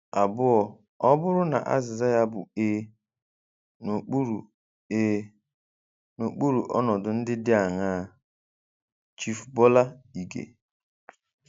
Abụọ, ọ bụrụ na azịza ya bụ ee, n'okpuru ee, n'okpuru ọnọdụ ndị dị aṅaa? - Chief Bola Ige